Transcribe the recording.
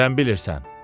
Nədən bilirsən?